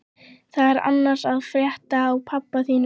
Hvað er annars að frétta af pabba þínum?